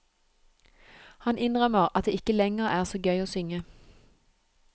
Han innrømmer at det ikke lenger er så gøy å synge.